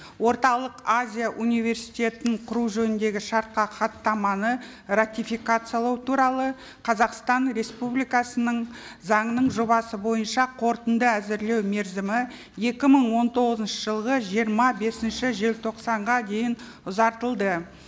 орталық азия университетін құру жөніндегі шартқа хаттаманы ратификациялау туралы қазақстан республикасының заңының жобасы бойынша қорытынды әзірлеу мерзімі екі мың он тоғызыншы жылғы жиырма бесінші желтоқсанға дейін ұзартылды